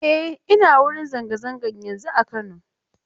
E, ina wurin zanga-zanga yanzun a Kano.